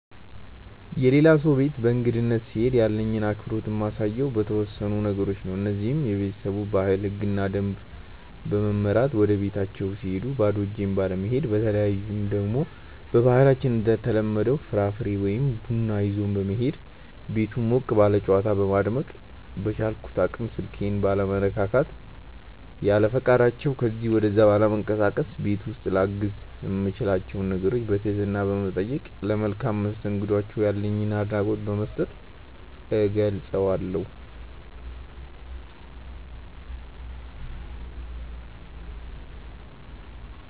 የሌላ ሰው ቤት በእንግድነት ስሄድ ያለኝን አክብሮት የማሳየው በተወሰኑ ነገሮች ነው። እነዚህም:- በቤተሰቡ ባህል፣ ህግና ደንብ በመመራት፣ ወደቤታቸው ስሄድ ባዶ እጄን ባለመሄድ፣ በተለይ ደግሞ በባህላችን እንደተለመደው ፍራፍሬ ወይ ቡና ይዞ በመሄድ፣ ቤቱን ሞቅ ባለ ጨዋታ በማድመቅ፣ በቻልኩት አቅም ስልኬን ባለመነካካት፣ ያለፈቃዳቸው ከዚ ወደዛ ባለመንቀሳቀስ፣ ቤት ውስጥ ላግዝ የምችላቸውን ነገሮች በትህትና በመጠየቅ፣ ለመልካም መስተንግዷቸው ያለኝን አድናቆት በመስጠት እገልፀዋለሁ።